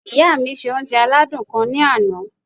Ìyá mi se oúnje aládùn kan ní ana